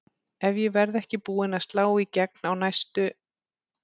Ef ég verð ekki búin að slá í gegn á næstu